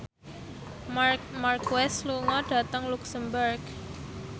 Marc Marquez lunga dhateng luxemburg